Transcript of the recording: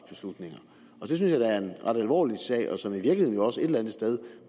alvorlig sag som i virkeligheden også et eller andet sted